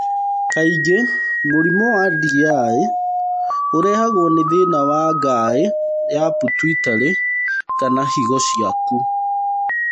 Kaingĩ, mũrimũ wa DI ũrehagwo nĩ thĩna wa ngaĩ ya pituitary kana higo ciaku.